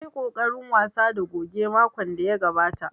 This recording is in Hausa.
Na yi ƙoƙarin wasa da goge makon da ya gabata